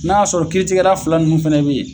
N'a y'a sɔrɔ kiiritigɛra fila ninnu fɛnɛ be ye